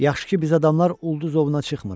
Yaxşı ki, biz adamlar ulduz ovuna çıxmırıq.